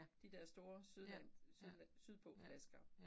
De der store sydland sydland sydpå flasker